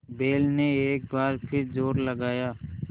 बैल ने एक बार फिर जोर लगाया